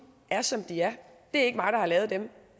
er som de er det er ikke mig der har lavet dem